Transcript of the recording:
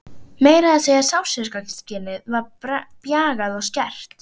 Meira að segja sársaukaskynið var bjagað og skert.